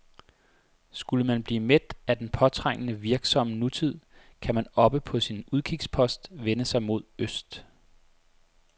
Skulle man blive mæt af den påtrængende, virksomme nutid, kan man oppe på sin udkigspost vende sig mod øst.